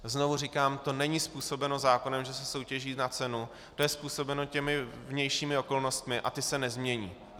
Znovu říkám, to není způsobeno zákonem, že se soutěží na cenu, to je způsobeno těmi vnějšími okolnostmi a ty se nezmění.